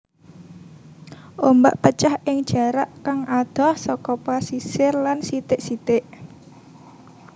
Ombak pecah ing jarak kang adoh saka pasisir lan sithik sithik